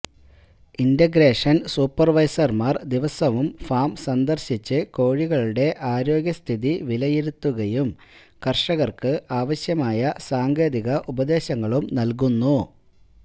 integration സൂപ്പർവൈസർമാർ ദിവസവും farm സന്ദർശിച്ച് കോഴികളുടെ ആരോഗ്യ സ്ഥിതി വിലിയിരുത്തുകയും കർഷകർക്ക് ആവശ്യമായ സാങ്കേതിക ഉപദേശങ്ങളും നൽകുന്നു